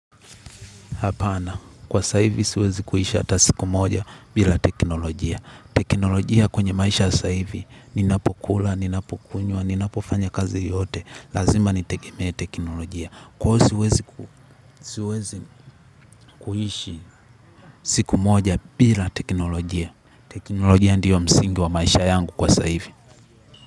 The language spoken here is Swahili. Apana, kwa saa hivi siwezi kuhishi hata siku moja bila teknolojia. Teknolojia kwenye maisha ya saa hivi, ninapokula, ninapokunywa, ninapofanya kazi yote. Lazima nitegemee teknolojia. Kwa hivyo siwezi kuhishi siku moja bila teknolojia. Teknolojia ndiyo msingi wa maisha yangu kwa saa hivi.